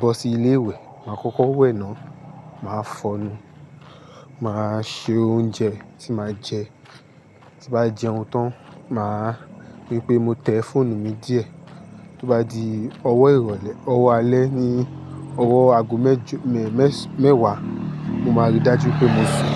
bọ́ sí ilé ìwẹ̀, máa kọ́kọ́ wẹ̀ náà, màá fọnu, màá se oúnjẹ tí màá jẹ. Tí bá jẹun tán, màá ríi pé mo tẹ fóònù mi díẹ̀, tí ó bá di ọwọ́ ìrọ̀lẹ́, ọwọ́ alẹ́ ni ọwọ́ ago mẹ́j, ní mẹ́ẹ̀s, mẹ́wàá, mo máa rí i dájú pé mo sùn.